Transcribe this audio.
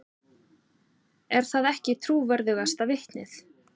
Er það ekki trúverðugasta vitnið?